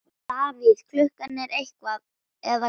Davíð Klukkan eitt eða hvað?